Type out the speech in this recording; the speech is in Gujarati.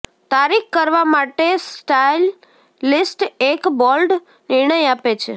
તારીખ કરવા માટે સ્ટાઈલિસ્ટ એક બોલ્ડ નિર્ણય આપે છે